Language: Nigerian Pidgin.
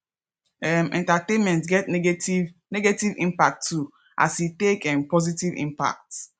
um entertainment get negative negative impacts too as e take um positive impacts